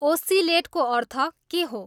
ओस्सिलेटको अर्थ के हो